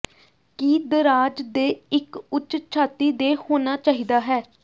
ਕੀ ਦਰਾਜ਼ ਦੇ ਇੱਕ ਉੱਚ ਛਾਤੀ ਦੇ ਹੋਣਾ ਚਾਹੀਦਾ ਹੈ